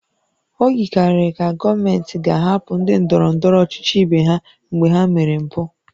O yikarịrị ka gọọmenti ga-ahapụ ndị ndọrọ ndọrọ ọchịchị ibe ha mgbe ha mere mpụ